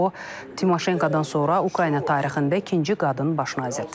O Timoşenkodan sonra Ukrayna tarixində ikinci qadın baş nazirdir.